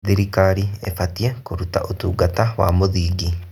Thirikari ĩbatiĩ kũruta ũtungata wa mũthingi.